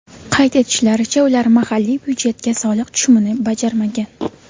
Qayd etishlaricha, ular mahalliy byudjetga soliq tushumini bajarmagan.